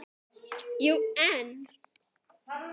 Jú, en